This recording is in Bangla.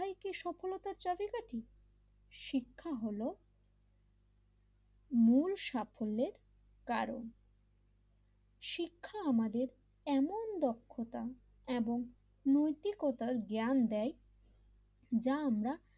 শিক্ষা হল মূল সাফল্যের কারণ শিক্ষা আমাদের এমন দক্ষতা এবং নৈতিকতার জ্ঞান দেয় যা আমরা,